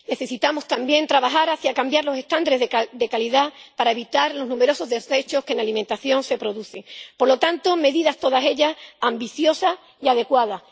Necesitamos, también, trabajar para cambiar los estándares de calidad y así evitar los numerosos desechos que en alimentación se producen. Se trata, por lo tanto, de medidas todas ellas ambiciosas y adecuadas.